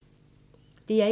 DR1